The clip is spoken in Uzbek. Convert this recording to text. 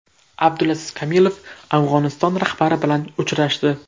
Abdulaziz Kamilov Afg‘oniston rahbari bilan uchrashdi.